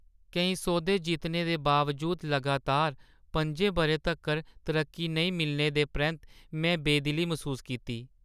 केईं सौदे जित्तने दे बावजूद लगातार पं'जें बʼरें तक्कर तरक्की नेईं मिलने दे परैंत्त में बेदिली मसूस कीती।